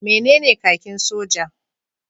Menene kakin soja?